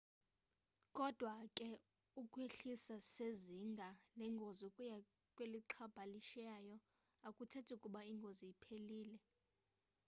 kodwa ke ukwehliswa sezinga lengozi ukuya kwelixhalabisayo akuthethi ukuba ingozi iphelile